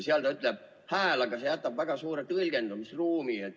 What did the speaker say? Seal on kirjas "hääl", aga see jätab väga suure tõlgendamisruumi.